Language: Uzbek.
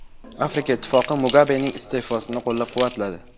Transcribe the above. Afrika Ittifoqi Mugabening iste’fosini qo‘llab-quvvatladi.